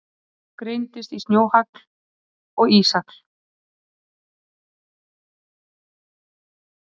Hagl greinist í snjóhagl og íshagl.